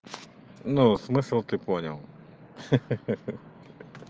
ну смысл ты понял ха-ха